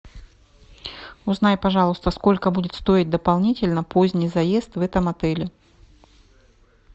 узнай пожалуйста сколько будет стоить дополнительно поздний заезд в этом отеле